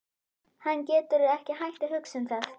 Hann getur ekki hætt að hugsa um það.